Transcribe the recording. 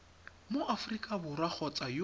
mo aforika borwa kgotsa yo